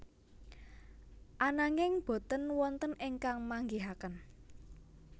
Ananging boten wonten ingkang manggihaken